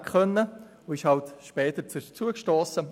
So stiess er halt später zu uns.